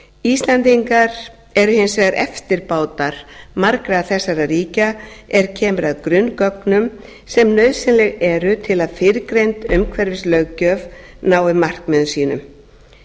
íslendingar eru hins vegar eftirbátar margra þessara ríkja er kemur að grunngögnum sem nauðsynleg eru til að fyrrgreind umhverfislöggjöf nái markmiðum sínum